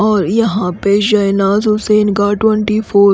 और यहाँ पे शहनाज़ हुसैन का ट्वेंटी फोर --